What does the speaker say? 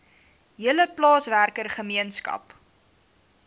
hele plaaswerker gemeenskap